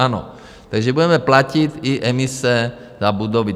Ano, takže budeme platit i emise za budovy.